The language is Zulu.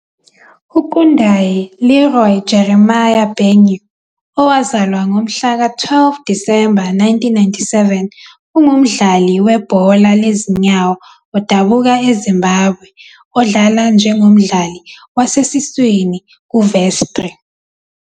UKundai Leroy Jeremiah Benyu, owazalwa ngomhlaka 12 Disemba 1997, ungumdlali webhola lezinyawo odabuka eZimbabwe odlala njengomdlali wasesiswini kuVestri.